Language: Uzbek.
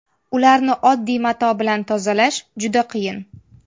Ularni oddiy mato bilan tozalash juda qiyin.